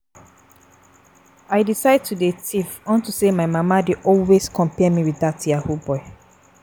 I decide to dey thief unto say my mama dey always compare me with dat yahoo boy